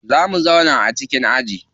Za mu zauna a cikin aji.